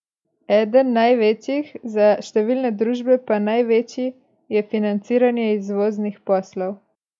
Eden največjih, za številne družbe pa največji, je financiranje izvoznih poslov.